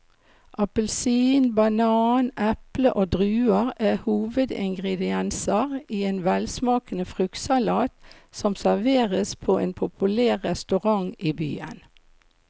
Appelsin, banan, eple og druer er hovedingredienser i en velsmakende fruktsalat som serveres på en populær restaurant i byen.